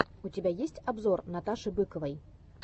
у тебя есть обзор наташи быковой